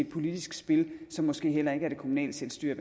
politisk spil som måske heller ikke er det kommunale selvstyre